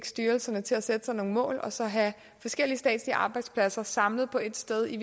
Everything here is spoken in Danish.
styrelserne til at sætte sig nogle mål og så have forskellige statslige arbejdspladser samlet på et sted i